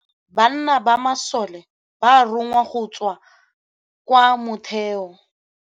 Ka nakô ya dintwa banna ba masole ba rongwa go tswa kwa mothêô.